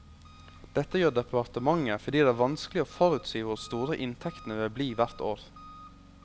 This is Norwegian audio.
Dette gjør departementet fordi det er vanskelig å forutsi hvor store inntektene vil bli hvert år.